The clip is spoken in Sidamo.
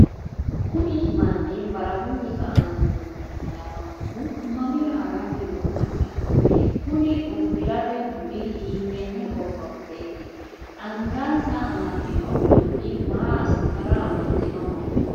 kuni manni barahu kanino manna lawannohu mamira haranni noo mannaati? kuni uddirate budi hiittenne gobba budeeti? angansa amaddino dulli maa assitara amaddinoho?